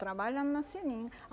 Trabalhando na seringa.